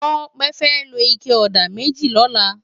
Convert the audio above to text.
Tope fè ló iké òdá mèjí lòlá